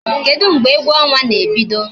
Kedu mgbe egwu ọnwa na-ebido?